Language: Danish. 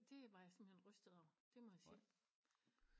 Det var jeg simpelthen rystet over det må jeg sige